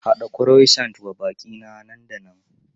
Haɗa Croissant wa baƙi na nan da nan!